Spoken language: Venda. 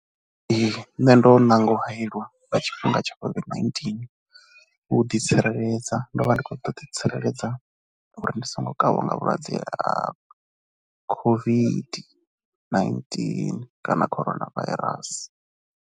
Ee nṋe ndo ṋanga u hayeliwa nga tshifhinga tsha COVID-19 u ḓitsireledza. Ndo vha ndi khou ṱoḓa u ḓitsireledza uri ndi songo kavhiwa nga vhulwadze ha COVID-19 kana Corona Virus.